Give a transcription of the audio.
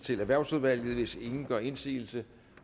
til erhvervsudvalget hvis ingen gør indsigelse